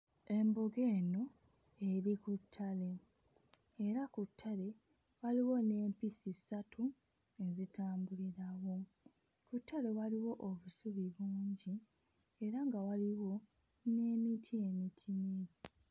Embogo eno eri ku ttale, era ku ttale waliwo n'empisi ssatu ezitambulirawo, ku ttale waliwo obusubi bungi era nga waliwo n'emiti emitini.